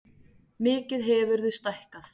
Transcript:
Mikið hefurðu stækkað.